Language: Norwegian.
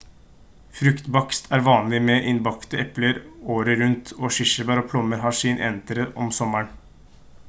fruktbakst er vanlig med innbakte epler året rundt og kirsebær og plommer har sin entré om sommeren